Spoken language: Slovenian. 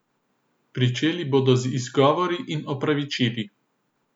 Pričeli bodo z izgovori in opravičili.